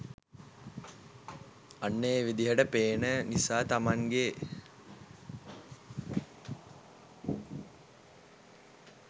අන්න ඒ විදිහට පේන නිසා තමන්ගේ